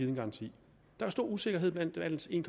en garanti der er stor usikkerhed blandt landets en